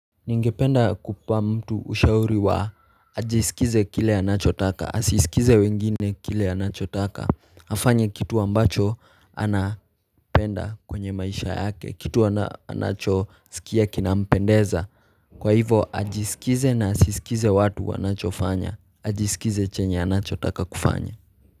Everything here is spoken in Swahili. Ningependa kupa mtu ushauri wa ajisikize kile anachotaka, asisikize wengine kile anachotaka, afanye kitu ambacho anapenda kwenye maisha yake, kitu anachosikia kinampendeza, kwa hivo ajisikize na asisikize watu anachofanya, ajisikize chenye anachotaka kufanya.